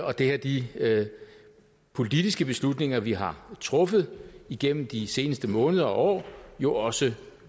og det har de politiske beslutninger vi har truffet igennem de seneste måneder og år jo også